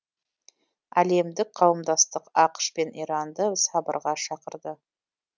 әлемдік қауымдастық ақш пен иранды сабырға шақырды